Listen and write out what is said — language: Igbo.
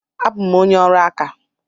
Abụ m onye ọrụ aka.